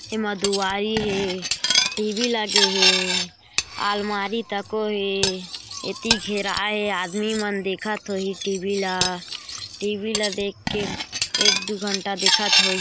एमा दुवारी हे टीवी लगे हेअलमारी था कोई आदमी मैन देखा तो ही टीवी ला टीवी ला देख के एक-दु घंटा देखत होही।